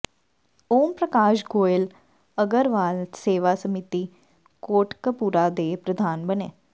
ਓਮ ਪ੍ਰਕਾਸ਼ ਗੋਇਲ ਅਗਰਵਾਲ ਸੇਵਾ ਸਮਿਤੀ ਕੋਟਕਪੂਰਾ ਦੇ ਪ੍ਰਧਾਨ ਬਣੇ